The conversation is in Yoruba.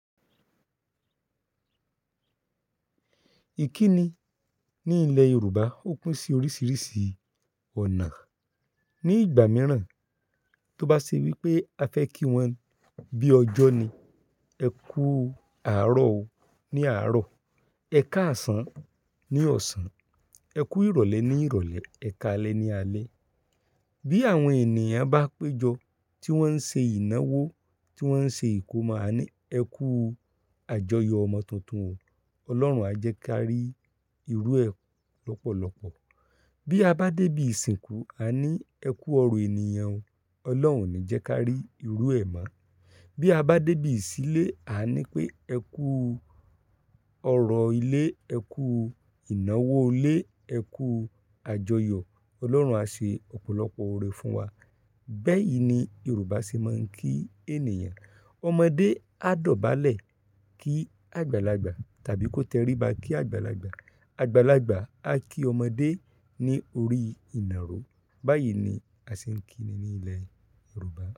Ìkíni ní ilẹ̀ Yorùbá ó pin sí oríṣiríṣi ọ̀nà. Ni ìgbà mìíràn, tó bá ṣe wípé a fẹ́ kí wọ́n bí ọjọ́ ni, ẹ kú àárọ̀ o ní àárọ̀, ẹ káàsán ní ọ̀sán, ẹ kú ìrọ̀lẹ́ ní ìrọ̀lẹ́, ẹ káalẹ́ ní alẹ́. Bí àwọn ènìyàn bá péjọ tí wọ́n ń ṣe ìnáwó, tí wọ́n ń ṣe ìkómà, a ní, ẹ kú àjọyọ̀ ọmọ tuntun o, Ọlọ́run a jẹ ká rí irú ẹ lọ́pọ̀lọ́pọ̀. Bí a bá débi ìsìnkú, a ní ẹ kú ọrọ̀ ènìyàn o, Ọlọ́run o ni jẹ ká rí irú ẹ ma. Bí a bá débi ìsílé, a ní pé ẹ kú ọrọ̀ ilé, ẹ kú ìnáwó ilé, ẹ kú àjọyọ̀, Ọlọ́run a ṣe ọ̀pọ̀lọpọ̀ òrẹ fún wa. Bẹ́ẹ̀yí ni Yorùbá ṣe máa ń kí ènìyàn. Ọmọdé á dọ̀bálẹ̀ kí àgbàlagbà tàbí kó tẹríba kí àgbàlagbà. Àgbàlagbà a kí ọmọdé ní orí ìnàró. Báyìí ni a ṣe ń kíni ní ilẹ̀ Yorùbá.